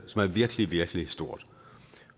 som er virkelig virkelig stort